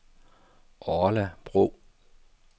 Orla Bro